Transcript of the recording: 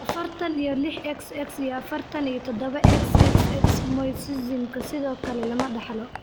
afartan iyo lix Xx iyo afartan iyo todaba, XXX mosaicism sidoo kale lama dhaxlo.